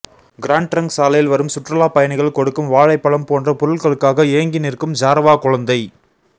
grand Trunk சாலையில் வரும் சுற்றுலாப் பயணிகள் கொடுக்கும் வாழைப்பழம் போன்ற பொருள்களுக்காக ஏங்கி நிற்கும் ஜாரவா குழந்தை